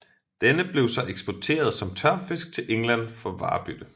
Denne blev så eksporteret som tørfisk til England for varebytte